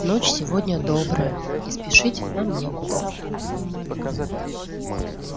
ночь сегодня добрая и спешить нам некуда